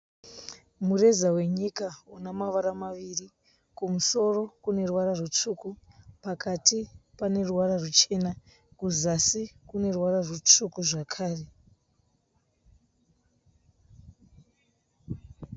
Mureza wenyika una mavara maviri. Kumusoro kune ruvara rutsvuku. Pakati pane ruvara ruchena. Kuzasi kune ruvara rutsvuku zvakare.